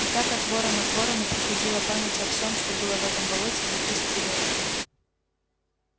и так от ворона к ворону переходила память о всем что было в этом болоте за тысячу лет